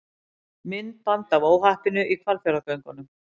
Myndband af óhappinu í Hvalfjarðargöngum